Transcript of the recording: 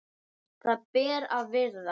Það ber að virða.